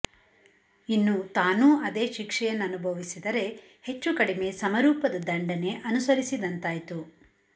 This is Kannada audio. ಇನ್ನು ತಾನೂ ಅದೇ ಶಿಕ್ಷೆಯನ್ನುಭವಿಸಿದರೆ ಹೆಚ್ಚು ಕಡಿಮೆ ಸಮರೂಪದ ದಂಡನೆ ಅನುಸರಿಸಿದಂತಾಯ್ತು